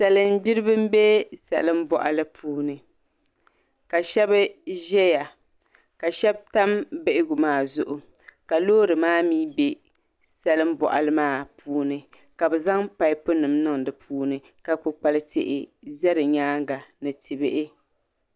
Salin gbiribi n bɛ salin boɣali puuni ka shab ʒɛya ka shab tam bihigu maa zuɣu ka loori maa mii bɛ salin boɣali maa puuni ka bi zaŋ paipu nim niŋ di puuni ka kpukpali tihi ʒɛ di nyaanga ni ti bihi